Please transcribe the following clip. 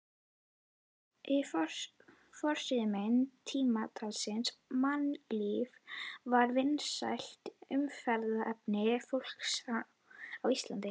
Þessi forsíðumynd tímaritsins Mannlífs var vinsælt umræðuefni fólks á Íslandi.